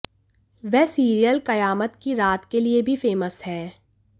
वह सीरियल कयामत की रात के लिए भी फेमस हैं